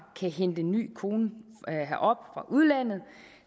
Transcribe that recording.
kan hente en ny kone herop fra udlandet